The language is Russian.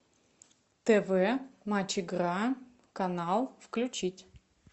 тв матч игра канал включить